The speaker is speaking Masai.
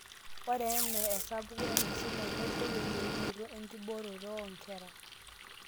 ore enaa esapuko enkisuma nedou eyieunoto enkibooroto oonkera